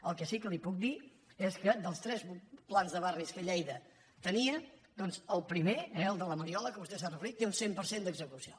el que sí que li puc dir és que dels tres plans de barris que lleida tenia doncs el primer eh el de la mariola a què vostè s’ha referit té un cent per cent d’execució